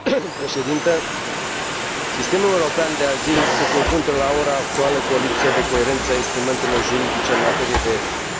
Sistemul european de azil se confruntă la ora actuală cu o lipsă de coerență a instrumentelor juridice în materie de protecție internațională.